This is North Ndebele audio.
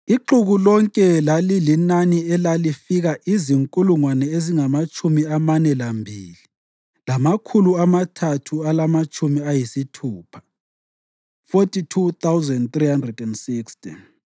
Ixuku lonke lalilinani elifika izinkulungwane ezingamatshumi amane lambili, lamakhulu amathathu alamatshumi ayisithupha (42,360),